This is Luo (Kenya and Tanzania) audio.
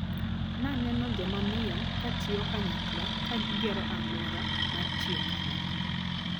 Naneno jomamiyo katiyo kanyakla, kagigero aluora mar tiyo kanyakla.